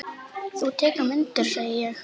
Þú tekur myndir, sé ég.